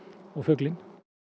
og fuglinn